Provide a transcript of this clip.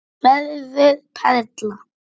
Verður perla.